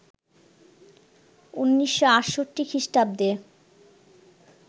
১৯৬৮ খ্রিস্টাব্দে